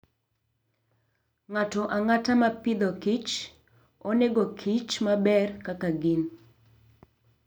Ng'ato ang'ata ma Agriculture and Food, onego kich maber kaka gin.